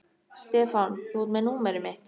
Stefán, þú ert með númerið mitt.